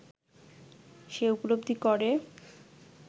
সে উপলব্ধি করে